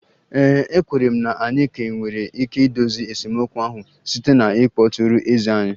Ee e, ekwenyere m na anyị ka nwere ike idozi esemokwu ahụ site na ịkpọtụrụ eze anyị